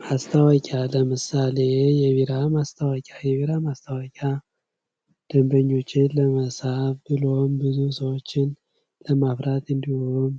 ማስታወቂያ ለምሳሌ የቢራ ማስታወቂያ የቢራ ማስታወቂያ ደንበኞችን ለመሳብ ብሎም ብዙ ሰዎችን ለማፍራት እንዲሁም